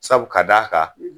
Sabu ka d'a kan